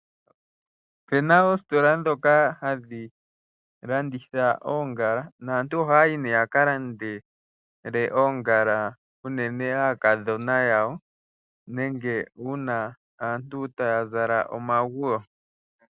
Opena oositola dhoka hadhi landitha oongala, naantu oha yi nee ya ka landele oongala uunene aakadhona yawo nenge uuna aantu ta ya zala omaguwo.